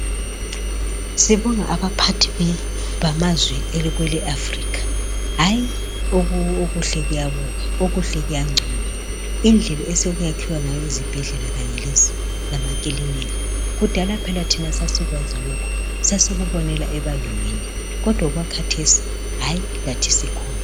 Sibonga abaphathi bamazwe kwele Africa hayi okuhle kuyabukwa okuhle kuyanconywa. Indlela esekwakhiwa ngayo izibhedlela Kanye lamakilinika. Kudala phela thina sasikwazi lokho sasikubonela ebalungwini kodwa okwakhathesi hayi lathi sikhona.